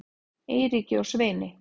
Eiríki og Sveini